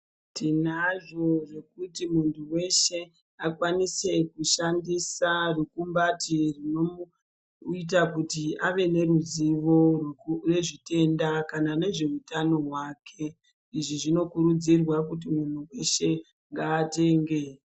Tinazvo zvekuti munthu weshe akwanise kushandisa rukumbati rinoita kuti ave neruzuvo nezvitenda kana nezveutano hwake, izvi zvinokurudzirwa kuti munthu weshe ngaatenge.